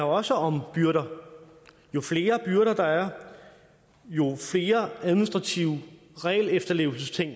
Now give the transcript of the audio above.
også om byrder jo flere byrder der er jo flere administrative regelefterlevelsesting